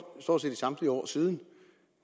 i stort set samtlige år siden